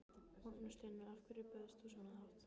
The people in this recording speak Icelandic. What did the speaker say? Magnús Hlynur: Af hverju bauðst þú svona hátt?